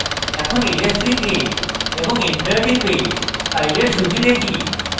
এখন ls লিখে এবং enter টিপে files সূচী দেখি